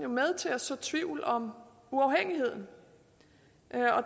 med til at så tvivl om uafhængigheden